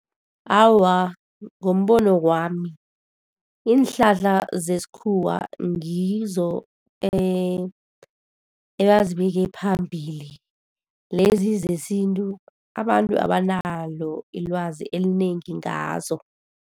Awa, ngombono wami iinhlahla zesikhuwa ngizo ebazibeke phambili. Lezi zesintu, abantu abanalo ilwazi elinengi ngazo.